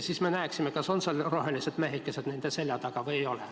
Siis me näeksime, kas rohelised mehikesed on nende selja taga või ei ole.